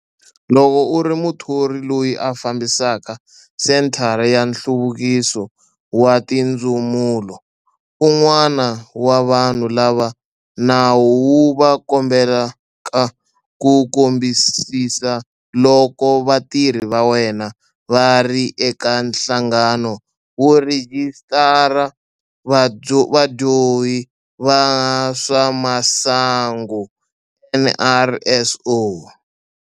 Loko u ri muthori loyi a fambisaka senthara ya nhluvukiso wa tindzumulo, un'wana wa vanhu lava nawu wu va kombelaka ku kambisisa loko vatirhi va wena va ri eka Nhlangano wo Rhijisitara Vadyohi va swa Masangu, NRSO.